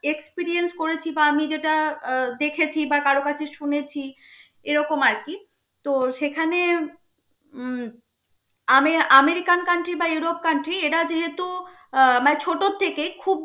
Experience করেছি বা আমি যেটা আহ দেখেছি বা কারো কাছে শুনেছি এরকম আর কি. তো সেখানে উম আমে~ আমেরিকান country বা ইউরোপ country এটা যেহেতু মানে ছোট থেকে খুব